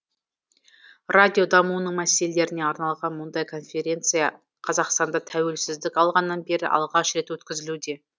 радио дамуының мәселелеріне арналған мұндай конференция қазақстанда тәуелсіздік алғаннан бері алғаш рет өткізілуде